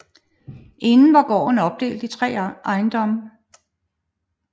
Inden var gården opdelt i tre ejendomme